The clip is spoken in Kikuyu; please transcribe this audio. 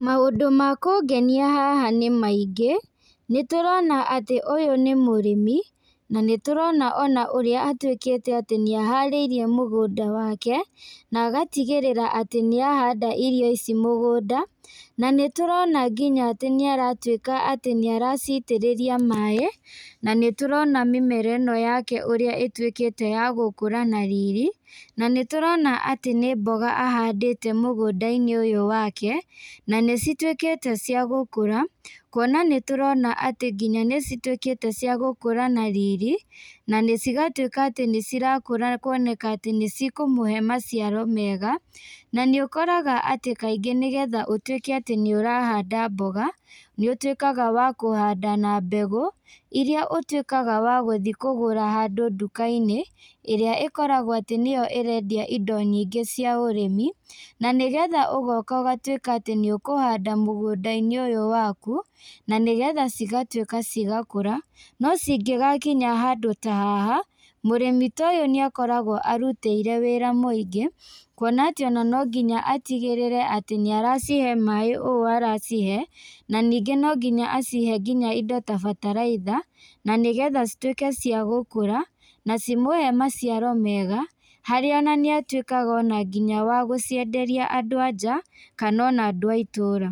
Maũndũ makũngenia haha nĩmaingĩ, nĩtũrona atĩ ũyũ nĩmũrĩmi, na nĩtũrona ona ũrĩa atuĩkĩte atĩ nĩaharĩirie mũgũnda wake, na agatigĩrĩra atĩ nĩahanda irio ici mũgũnda, na nĩtũrona nginya atĩ nĩaratuĩka atĩ nĩaracitĩrĩria maĩ, na nĩtũrona mĩmera ĩno yake ũrĩa ĩtuĩkĩte ya gũkũra na riri, na nĩtũrona atĩ nĩ mboga ahandĩte mũgũndainĩ ũyũ wake, na nĩcituĩkĩte cia gũkũra, kuona nĩtũrona atĩ nginya nĩcituĩkĩte cia gũkũra na riri, na cigatuĩka atĩ nĩcirakũra kuoneka atĩ nĩcikũmũhe maciaro mega, na nĩũkoraga atĩ kaingĩ nĩgetha ũtuĩke atĩ nĩũrahanda mboga, nĩũtuĩkaga wa kũhanda na mbegũ, iria ũtuĩkaga wa gũthi kũgũra handũ ndukainĩ, ĩrĩa ĩkoragwo atĩ nĩyo ĩrendia indo nyingĩ cia ũrĩmi, na nĩgetha ũgoka ũgatuĩka atĩ nĩũkũhanda mũgũndainĩ ũyũ waku, na nĩgetha cigatuĩka cigakũra, no cingĩgakinya handũ ta haha, mũrĩmi ta ũyũ nĩakoragwo arutĩire wĩra mũingĩ, kuona atĩ ona no nginya atigĩrĩre atĩ nĩaracihe maĩ o aracihe, na ningĩ nonginya acihe nginya indo ta bataraitha, na nĩgetha cituĩke cia gũkũra, na cimũhe maciaro mega, harĩa ona nĩatuĩkaga ona nginya wa gũcienderia andũ a nja, kana ona andũ a itũra.